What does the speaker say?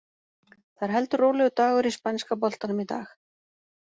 Það er heldur rólegur dagur í spænska boltanum í dag.